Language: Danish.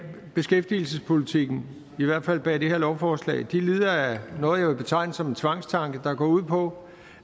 beskæftigelsespolitikken i hvert fald bag de her lovforslag lider af noget jeg vil betegne som en tvangstanke der går ud på